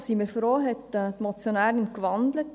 Wir sind froh, hat die Motionärin gewandelt.